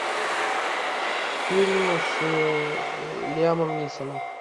фильм с лиамом нисоном